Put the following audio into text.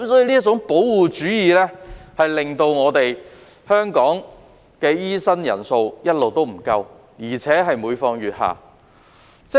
這種保護主義導致香港的醫生人數一直不足，而且每況愈下。